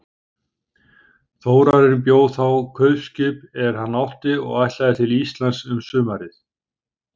Þórarinn bjó þá kaupskip er hann átti og ætlaði til Íslands um sumarið.